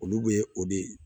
Olu bɛ o de